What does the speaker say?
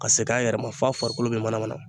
Ka segin a yɛrɛ ma f'a farikolo bɛ manamana